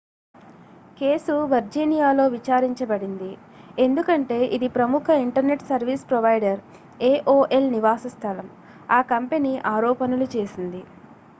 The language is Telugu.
కేసు వర్జీనియాలో విచారించబడింది ఎందుకంటే ఇది ప్రముఖ ఇంటర్నెట్ సర్వీస్ ప్రొవైడర్ aol నివాస స్థలం ఆ కంపెనీ ఆరోపణలు చేసింది